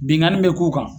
Binkanni bɛ k'u kan